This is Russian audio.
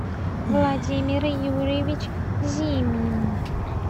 владимир юрьевич зимин